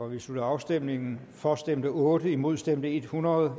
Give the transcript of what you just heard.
vi slutter afstemningen for stemte otte imod stemte hundrede